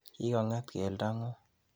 Kikong'et keldeng'ung'.